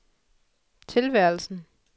tilværelsen